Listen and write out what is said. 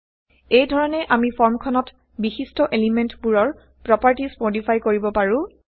এই ধৰণে আমি ফৰ্মখনত বিশিষ্ট এলিমেন্ট বোৰৰ160প্ৰপাৰ্টিজ মডিফাই কৰিব পাৰো